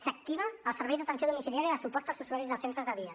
s’activa el servei d’atenció domiciliària de suport als usuaris dels centres de dia